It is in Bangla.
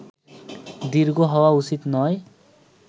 দীর্ঘ হওয়া উচিত নয়